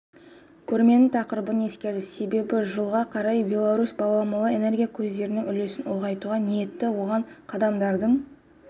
көрменің тақырыбын ескерді себебі жылға қарай беларусь баламалы энергия көздерінің үлесін ұлғайтуға ниетті оған қадамдардың